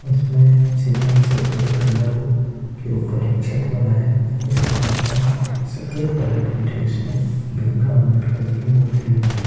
इसमें सीमेंट से बने पिलरो के ऊपर एक छत बना हैं। जिसके बीच में सफेद कलर के ड्रेस में भीम राव अंबेडकर जी की मूर्ति लगी है।